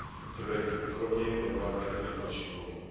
AKT, se bude chtít podrobněji věnovat některým dalším bodům.